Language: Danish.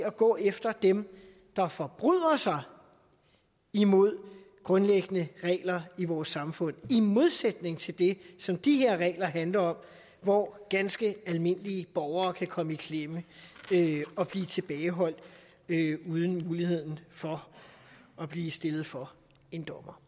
at gå efter dem der forbryder sig imod grundlæggende regler i vores samfund det i modsætning til det som de her regler handler om hvor ganske almindelige borgere kan komme i klemme og blive tilbageholdt uden mulighed for at blive stillet for en dommer